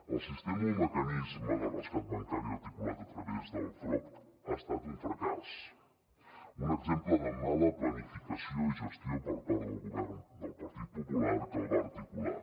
el sistema o mecanisme de rescat bancari articulat a través del frob ha estat un fracàs un exemple de mala planificació i gestió per part del govern del partit popular que el va articular